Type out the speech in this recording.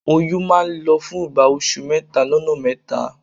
Oyún máa n lọ fún ìgbà oṣù mẹ́tà lọ́nà mẹ́ta